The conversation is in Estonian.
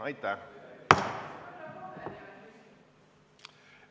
Aitäh!